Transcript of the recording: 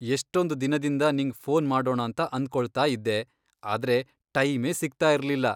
ಎಷ್ಟೊಂದ್ ದಿನದಿಂದ ನಿಂಗ್ ಫೋನ್ ಮಾಡೋಣಾಂತ ಅಂದ್ಕೊಳ್ತಾಯಿದ್ದೆ ಆದ್ರೆ ಟೈಮೇ ಸಿಗ್ತಾಯಿರ್ಲಿಲ್ಲ.